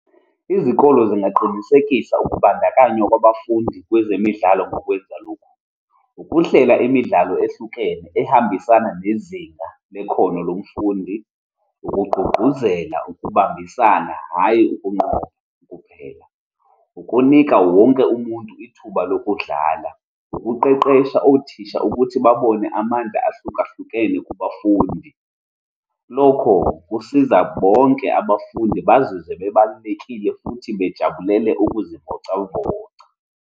Izikole zingaqinisekisa ukubandakanywa kwabafundi kwezemidlalo ngokwenza lokhu, ukuhlela imidlalo ehlukene, ehambisana nezinga nekhono lomfundi, ukugqugquzela ukubambisana, hhayi ukunqoba kuphela, ukunika wonke umuntu ithuba lokudlala, ukuqeqesha othisha ukuthi babone amanda ahlukahlukene kubafundi. Lokho, kusiza bonke abafundi bazizwe bebalulekile futhi bejabulele ukuzivocavoca.